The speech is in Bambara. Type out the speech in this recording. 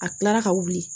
A kilara ka wuli